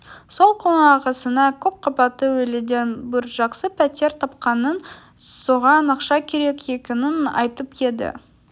сол күні ағасына көп қабатты үйлерден бір жақсы пәтер тапқанын соған ақша керек екенін айтып еді